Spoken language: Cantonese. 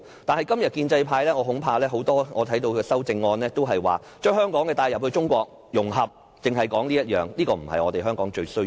但是，今天我看到很多建制派議員的修正案，都是提議將香港帶入中國、融合，只是說這點，但這不是香港最需要的。